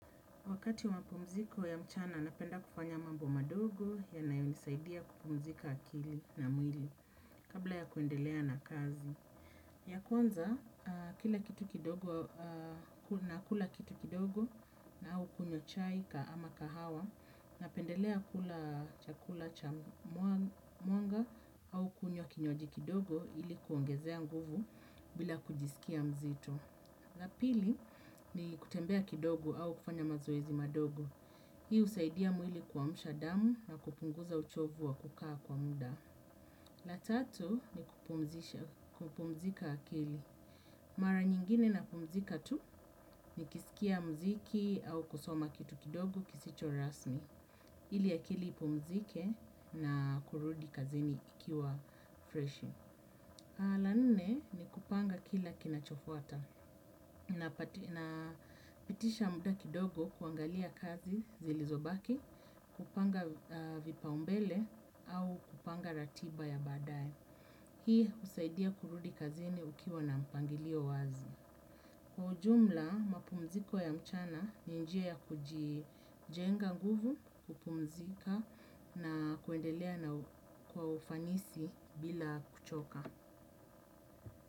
Wakati wa mapumziko ya mchana napenda kufanya mambo madogo yanayonisaidia kupumzika akili na mwili kabla ya kuendelea na kazi. Ya kwanza, kila kitu kidogo, nakula kitu kidogo au kunywa chai ama kahawa. Napendelea kula chakula cha mwanga au kunywa kinywaji kidogo ili kuongezea nguvu bila kujisikia mzito. La pili, ni kutembea kidogo au kufanya mazoezi madogo. Hii husaidia mwili kuamsha damu na kupunguza uchovu wa kukaa kwa muda. La tatu ni kupumzika akili. Mara nyingine napumzika tu, nikisikia mziki au kusoma kitu kidogo kisicho rasmi. Ili akili ipumzike na kurudi kazini ikiwa fresh. La nne, ni kupanga kila kinachofuata. Na pitisha muda kidogo kuangalia kazi zilizobaki, kupanga vipaumbele au kupanga ratiba ya baadae. Hii husaidia kurudi kazini ukiwa na mpangilio wazi. Kwa ujumla mapumziko ya mchana ni njia ya kujijenga nguvu, kupumzika na kuendelea kwa ufanisi bila kuchoka.